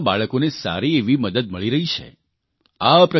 તેનાથી ગામના બાળકોને સારી એવી મદદ મળી રહી છે